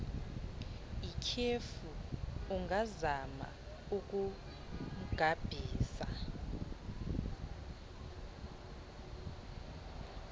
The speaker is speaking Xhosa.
ityhefu ungazama ukumgabhisa